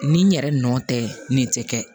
Ni n yɛrɛ nɔ tɛ nin tɛ kɛ